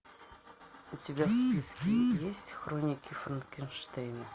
у тебя в списке есть хроники франкенштейна